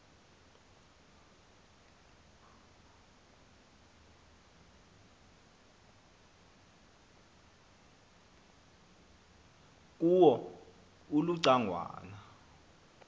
kuwo uluca ngwana